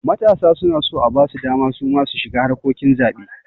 Matasa suna so abasu dama suma su shiga harkokin zaɓe